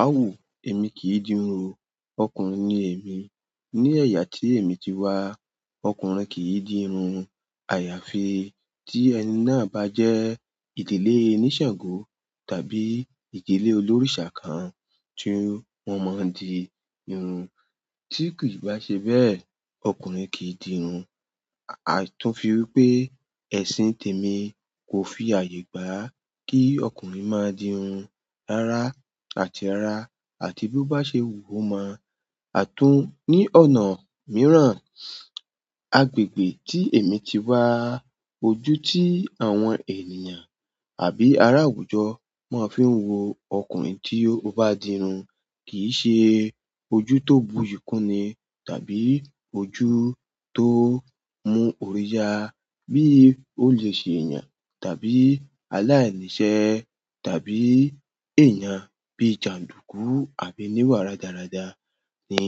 A wò, èmi kì í di irun. Ọkùnrin ni èmi. Ni ẹ̀yà tí èmi ti wá, ọkùnrin kì í di irun. Àyàfi tí ẹni náà bá jẹ́ ìdílé onísàngó tàbí ìdílé olórìṣà kan tí wọ́n máa ń di irun, tí kì í bá ṣe bẹ́ẹ̀, ọkùnrin kì í di irun. Àtún fi wípé, ẹ̀sìn tèmi kò fi àyè gbá kí ọkùnrin máa di irun rara àti ara àti bí ó bá ṣe wú o mọ. Àtún ní ọ̀nà mìíràn, agbègbè tí èmi ti wá, ojú tí àwọn ènìyàn àbí ará àwùjọ máa ń fi ń wo ọkùnrin tí ó bá di irun kì í ṣe ojú tó buyi kúnni tàbí ojú tó mú òrí ya. Bí ó lè ṣe èèyàn tàbí aláìníṣẹ́ tàbí èèyàn bí jàndùkú àbí níwà rádaràda ni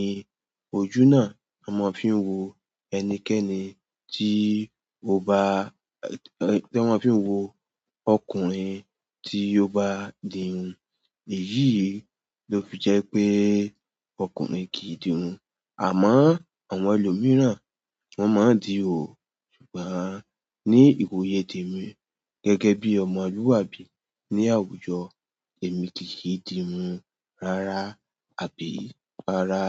ojú náà a máa ń fi wo ẹnikẹ́ni tí ó bá, tí wọ́n fi ń wo ọkùnrin tí ó bá di irun. Èyí ló fi jẹ́ pé ọkùnrin kì í di irun. Àmọ́ àwọn ẹlòmíràn wọ́n máa ń di òó. Ṣùgbọ́n ní ìwòye tèmi gẹ́gẹ́ bí ọmọlúwàbí ní àwùjọ, èmi kì í di irun rara àbí ara.